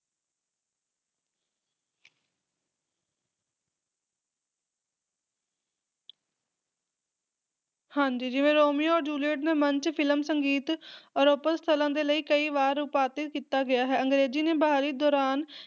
ਹਾਂਜੀ ਜਿਵੇਂ Romeo Juliet ਦੇ ਮਨ ਚ ਫਿਲਮ, ਸੰਗੀਤ ਔਰ ਓਪੇਰਾ ਸਥਾਨਾਂ ਦੇ ਲਈ ਕਈ ਵਾਰ ਉਪਾਦਿਤ ਕੀਤਾ ਗਿਆ ਹੈ। ਅੰਗਰੇਜ਼ੀ ਦੇ ਬਹਾਲੀ ਦੌਰਾਨ,